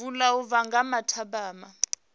vula u bva nga mathabama